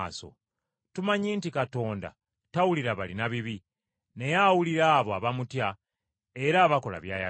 Tumanyi nti Katonda tawulira balina bibi, naye awulira abo abamutya era abakola by’ayagala.